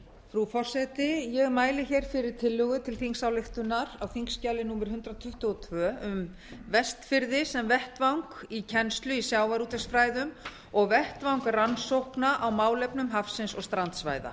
frú forseti ég mæli hér fyrir tillögu til þingsályktunar á þingskjali númer hundrað tuttugu og tvö um vestfirði sem vettvang kennslu í sjávarútvegsfræðum og vettvang rannsókna á málefnum hafsins og strandsvæða